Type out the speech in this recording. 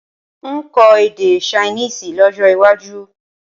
N ó kọ èdè Ṣainíìsì lọ́jó̩ waju